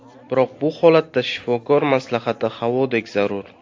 Biroq bu holatda shifokor maslahati havodek zarur.